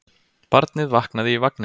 Barnið vaknaði í vagninum.